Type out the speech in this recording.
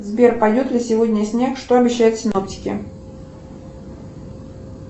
сбер пойдет ли сегодня снег что обещают синоптики